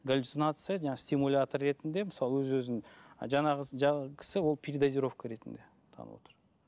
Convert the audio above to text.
галюцинация жаңа стимулятор ретінде мысалы өз өзін жаңағы кісі ол передозировка ретінде танылып отыр